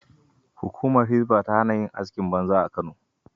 Hukumar Hisba ta hana yin askin banza a Kano.